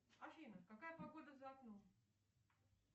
афина какая погода за окном